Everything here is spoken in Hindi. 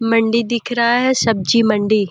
मंडी दिख रहा है शब्जी मंडी।